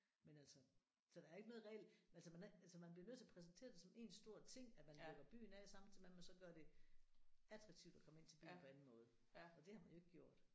Men altså så der er ikke noget reelt altså man altså man bliver nødt til at præsentere det som én stor ting at man lukker af samtidig med man så gør det attraktivt at komme ind til byen på anden måde og det har man jo ikke gjort